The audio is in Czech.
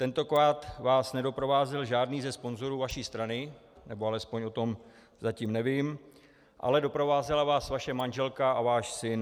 Tentokrát vás nedoprovázel žádný ze sponzorů vaší strany, nebo alespoň o tom zatím nevím, ale doprovázela vás vaše manželka a váš syn.